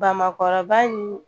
Bamakɔ kɔrɔba in